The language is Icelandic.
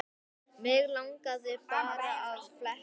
Mig langaði bara að fletta